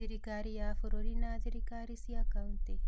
Thirikari ya bũrũri na thirikari cia County.